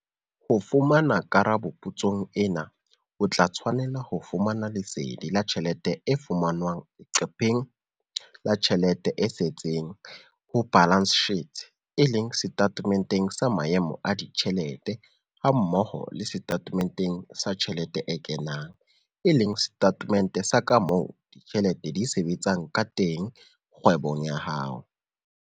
Ho fumana karabo potsong ena o tla tshwanela ho fumana lesedi la tjhelete e fumanwang leqepheng la tjhelete e setseng, balance sheet, e leng setatementeng sa maemo a ditjhelete hammoho le setatementeng sa tjhelete e kenang, e leng setatemente sa ka moo ditjhelete di sebetsang ka teng kgwebong ya hao.